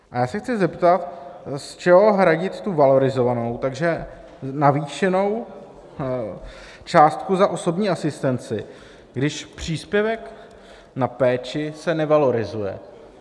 A já se chci zeptat, z čeho hradit tu valorizovanou, takže navýšenou částku za osobní asistenci, když příspěvek na péči se nevalorizuje.